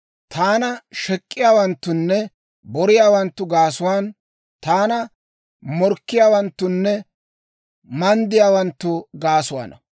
Taana shek'k'iyaawanttunne boriyaawanttu gaasuwaan, Taanna morkkiyaawanttunne manddiyaawanttu gaasuwaana.